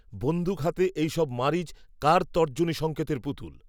বন্দুক হাতে এই সব মারীচ, কার তর্জনীসঙ্কেতের পুতুল